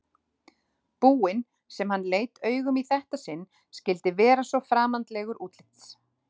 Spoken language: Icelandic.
búinn sem hann leit augum í þetta sinn skyldi vera svo framandlegur útlits.